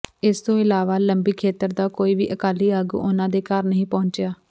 ਇਸ ਤੋਂ ਇਲਾਵਾ ਲੰਬੀ ਖੇਤਰ ਦਾ ਕੋਈ ਵੀ ਅਕਾਲੀ ਆਗੂ ਉਨ੍ਹਾਂ ਦੇ ਘਰ ਨਹੀਂ ਪਹੁੰਚਿਆ